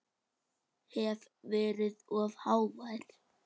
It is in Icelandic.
Hef verið of hávær.